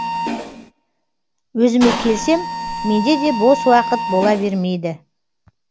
өзіме келсем менде де бос уақыт бола бермейді